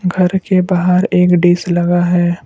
घर के बाहर एक डिश लगा है।